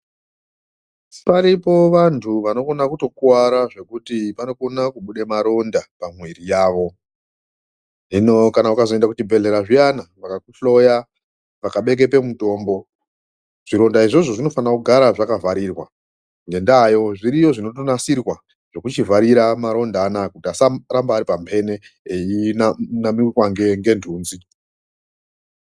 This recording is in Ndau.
Paripo vantu vanokona kutokuwara zvekuti vanokona kubude maronda pamwiiri yawo. Hino kana ukazoende kuchibhedhlera zviyana, vakakuhloya, vakabekepe mutombo, Zvironda izvozvo zvinofanira kugara zvakavharirwa. Ngendaayo zviriyo zvinotonasirwa zvekuchivharira maronda anaya kuti asaramba ari pambene, eyinamirwa ngendunzi.